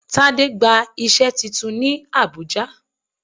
Tade gba iṣẹ́ titun ní Abùjá.